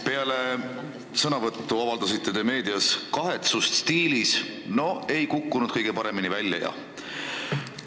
Peale oma avaldust te avaldasite meedias kahetsust stiilis, et noh, ei kukkunud kõige paremini välja jah.